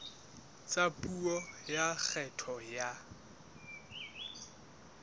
ka puo ya kgetho ya